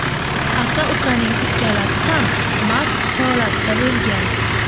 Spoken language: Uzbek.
Aka-ukaning ikkalasi ham mast holatda bo‘lgan.